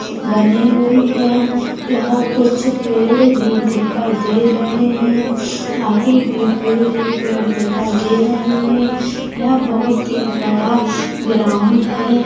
बने हुए है यह कुछ पेड़ भी दिखाई दे रहे है आगे भी पेड़ ही पेड़ दिखाई दे रहे है यह बहुत ही बड़ा ग्राउंड है।